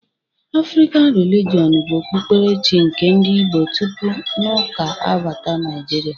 Afrịkan Relijọn bụ Okpukpere chi nke ndị Igbo tupu n'Ụka abata Naịjirịa